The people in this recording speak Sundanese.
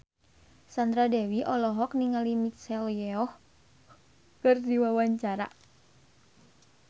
Sandra Dewi olohok ningali Michelle Yeoh keur diwawancara